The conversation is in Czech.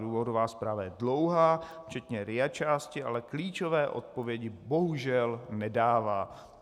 Důvodová zpráva je dlouhá, včetně RIA části, ale klíčové odpovědi bohužel nedává.